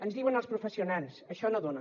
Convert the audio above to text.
ens diuen els professionals això no dona